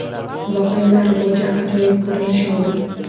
Voqealar rivoji ajoyib ko‘rinish oldi.